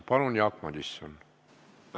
Palun, Jaak Madison!